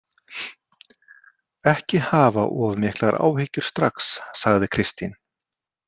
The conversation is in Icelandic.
Ekki hafa of miklar áhyggjur strax, sagði Kristín.